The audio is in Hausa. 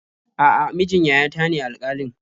A'a, mijin yayata ne alƙalin.